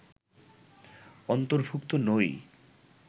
অন্তর্ভুক্ত নই